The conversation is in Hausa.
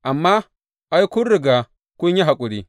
Amma, ai, kun riga kun yi haƙuri.